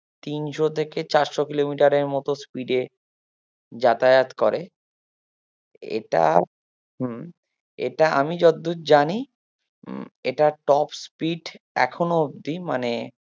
তিনশো থেকে চারশো কিলোমিটারের মতো speed এ যাতায়াত করে এটার হম এটা আমি যতদূর জানি হম এটার top speed এখনো অব্দি মানে